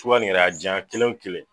Sunba ni yɛrɛ ajana kelen kelen